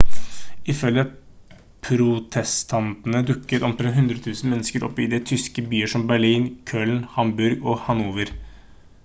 ifølge protestantene dukket omtrent 100 000 mennesker opp i tyske byer som berlin køln hamburg og hanover